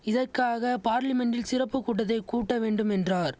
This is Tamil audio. இதக்காக பார்லிமென்ட்டில் சிறப்பு கூட்டத்தை கூட்ட வேண்டும் என்றார்